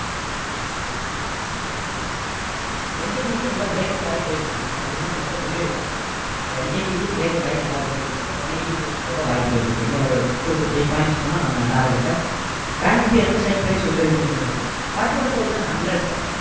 NTPC நல்லா breakout ஆகி போயிட்டு இருக்குங்க already நாம இதை சொல்லிருக்கோம் so NTPC breakout ஆகி நல்லா போயிட்டிருக்கு one eighty plus போகவாய்ப்புகள் இருக்கு இன்னும் ஒரு two to three points போனா நம்ம target அ bank nifty எந்த strike price சொல்லிருக்கீங்க சந்தோஷ்